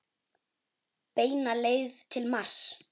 Beina leið til Mars.